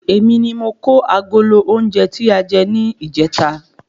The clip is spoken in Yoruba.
Èmi ni mo kó agolo oúnjẹ tà jẹ ni ijeta